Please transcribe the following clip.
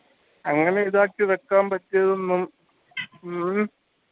അങ്ങനെ ഇതാക്കി വെക്കാൻ പറ്റിയതൊന്നും ഉം